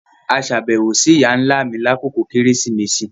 A ṣabẹwo si iya-nla mi lakoko Keresimesi